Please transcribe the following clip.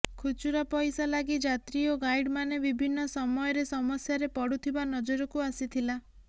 ଖୁଚୁରା ପଇସା ଲାଗି ଯାତ୍ରୀ ଓ ଗାଇଡ଼ ମାନେ ବିଭିନ୍ନ ସମୟରେ ସମସ୍ୟାରେ ପଡୁଥିବା ନଜରକୁ ଆସିଥିଲା